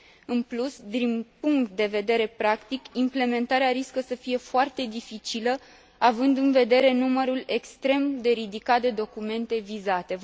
În plus, din punct de vedere practic, implementarea riscă să fie foarte dificilă, având în vedere numărul extrem de ridicat de documente vizate.